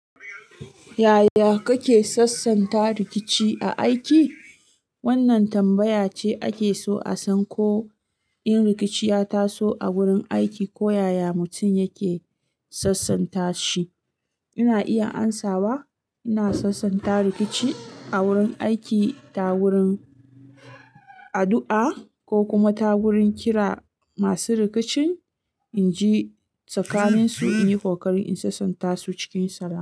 Yaya kake sassanta rikici a aiki? Wannan tambaya ce ake so a san ko in rikici ya taso a wurin aiki ko yaya mutum yake sassanta shi. Ina iya amsawa, ina sassanta rikici a wurin aiki ta wurin addu'a ko kuma ta wurin kira masu rikicin in ji tsakanin su, in yi kokari in sassanta su cikin salama.